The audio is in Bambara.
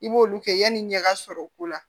I b'olu kɛ yanni i ɲɛ ka sɔrɔ o ko la